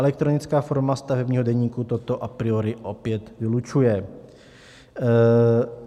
Elektronická forma stavebního deníku toto a priori opět vylučuje.